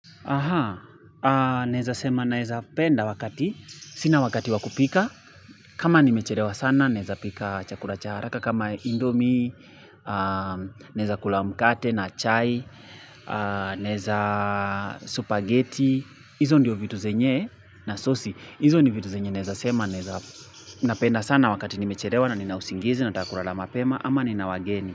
Aha, naeza sema naeza penda wakati. Sina wakati wakupika. Kama nimechelewa sana, naezapika chakula cha haraka. Kama indomie, naeza kula mkate na chai, naeza supageti. Izo ndiyo vitu zenye nasosi. Hizo ni vitu naeza sema naeza napenda sana wakati nimechelewa na ninausingizi nataka kulala mapema ama nina wageni.